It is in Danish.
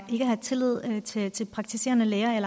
ikke har tillid til at de praktiserende lægers